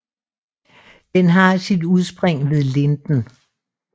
Den har sit udspring ved Linden